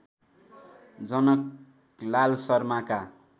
Janaklal शर्माका